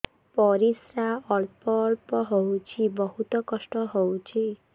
ପରିଶ୍ରା ଅଳ୍ପ ଅଳ୍ପ ହଉଚି ବହୁତ କଷ୍ଟ ହଉଚି